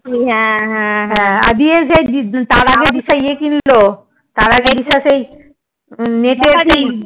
হ্যাঁ হ্যাঁ আর ইয়ে তার আগে দিশা ইয়ে কিনলো তার আগে দিশা সেই net এ কি